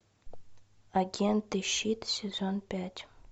агенты щит сезон пять